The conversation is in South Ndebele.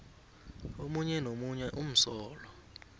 omunye nomunye umsolwa